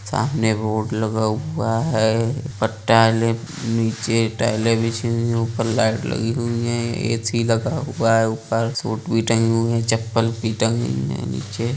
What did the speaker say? सामने बोर्ड लगा हुवा है । ऊपर टाइले नीचे टाइले बिछी हुई हैं ऊपर लाईट लगी हुई हैंए_सी लगा हुवा है । ऊपर सूट भी टंगी हुई हैं चपल भी टंगी हुई हैं। नीचे--